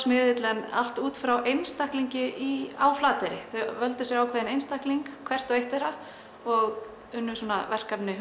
miðill en allt út frá einstaklingi á Flateyri þau völdu sér ákveðinn einstakling hvert og eitt þeirra og unnu verkefni